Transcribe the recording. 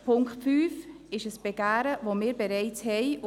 Der Punkt 5 ist ein Begehren, das wir bereits haben.